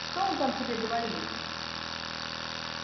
что он там тебе говорил